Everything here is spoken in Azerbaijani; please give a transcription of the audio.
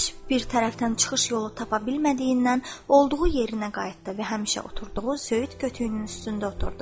Heç bir tərəfdən çıxış yolu tapa bilmədiyindən, olduğu yerinə qayıtdı və həmişə oturduğu söyüd kötüyünün üstündə oturdu.